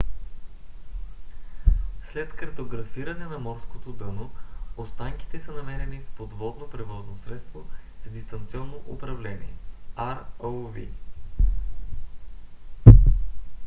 след картографиране на морското дъно останките са намерени с подводно превозно средство с дистанционно управление rov